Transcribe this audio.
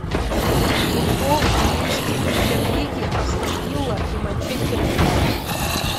футбол английской премьер лиги астон вилла и манчестер юнайтед